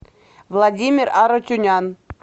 владимир арутюнян